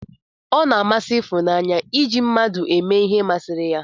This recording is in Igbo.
O na-amasị Ifunanye iji ndị mmadụ eme ihe ma siri ya.